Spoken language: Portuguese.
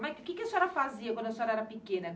O que que a senhora fazia quando a senhora era pequena?